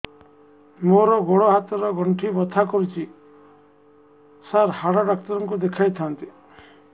ମୋର ଗୋଡ ହାତ ର ଗଣ୍ଠି ବଥା କରୁଛି ସାର ହାଡ଼ ଡାକ୍ତର ଙ୍କୁ ଦେଖାଇ ଥାନ୍ତି